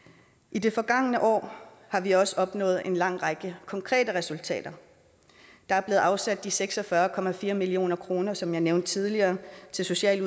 i det forgangne år har vi også opnået en lang række konkrete resultater der er blevet afsat seks og fyrre million kr som jeg nævnte tidligere til socialt